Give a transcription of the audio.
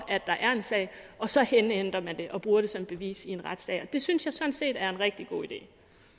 der er en sag og så indhenter man det og bruger som bevis i en retssag og det synes jeg sådan set er en rigtig god idé